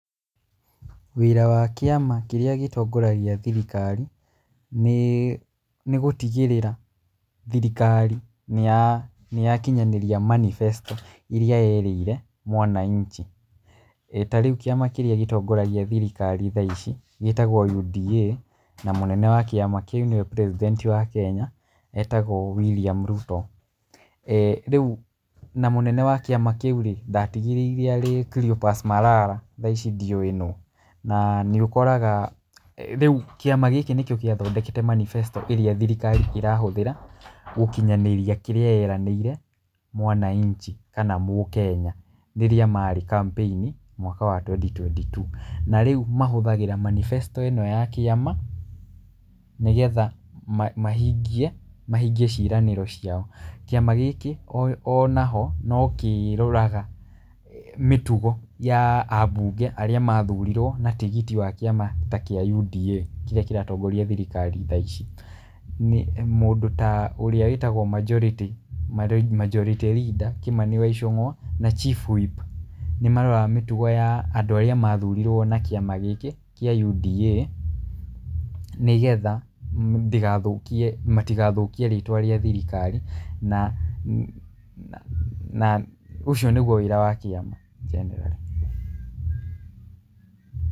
Wĩra wa kĩama kĩrĩa gĩtongoragia thirikari nĩ, nĩ gũtigĩrĩra thirikari nĩ ya, nĩ ya kinyanĩria manifesto irĩa yerĩire mwananchi. Ta rĩu kĩama kĩrĩa gĩtongoragia thirikari tha ici gĩtagwo UDA na mũnene wa kĩama kĩu nĩwe president wa Kenya etagwo William Ruto. Rĩu na mũnene wa kĩama kĩu rĩ ndatigĩrĩire arĩ Cleophas Malala thaa ici ndiũĩ nũ. Na nĩ ũkoraga rĩu kĩama gĩkĩ nĩkĩo gĩathondekete manifesto ĩrĩa thirikari ĩrahũthĩra gũkinyanĩria kĩrĩa yeranĩire mwananchi kana mũkenya rĩrĩa marĩ campaign mwaka wa twendi twendi two. Na rĩu mahũthagĩra manifesto ĩno ya kĩama nĩgetha mahingie ciĩranĩrwo ciao. Kĩama gĩkĩ ona ho no kĩroraga mĩtugo ya abunge arĩa mathurirwo na tigiti wa kĩama ta kĩa UDA, kĩrĩa kĩratongoria thirikari thaa ici. Mũndũ ta ũrĩa wĩtagwo Majority leader Kĩmani wa Icũngwa na Chief whip nĩ maroraga mĩtugo ya andũ arĩa mathurirwo na kĩama gĩkĩ kĩa UDA. Nĩgetha ndĩgathũkie matigathũkie rĩtwa rĩa thirikari na ũcio nĩguo wĩra wa kĩama generally.